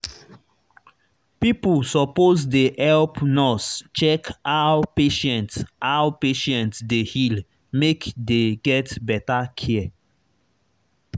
pipo suppose dey help nurse check how patient how patient dey heal make dey get better care.